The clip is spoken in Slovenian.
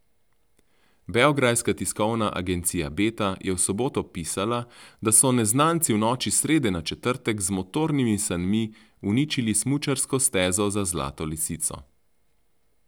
Beograjska tiskovna agencija Beta je v soboto pisala, da so neznanci v noči s srede na četrtek z motornimi sanmi uničili smučarsko stezo za Zlato lisico.